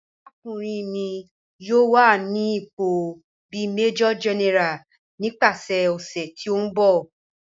Arakunrin mi yoo wa ni ipo bi Major General nipasẹ ọsẹ ti n bọ.